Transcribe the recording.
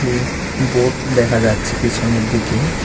উম board দেখা যাচ্ছে পিছনের দিকে।